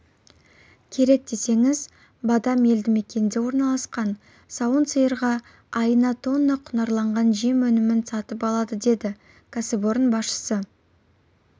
керек десеңіз бадамелді мекенінде орналасқан сауын сиырға айына тонна құнарланған жем өнімін сатып алады деді кәсіпорын басшысы